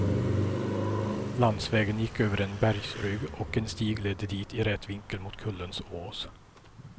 Landsvägen gick över en bergsrygg, och en stig ledde dit i rät vinkel mot kullens ås.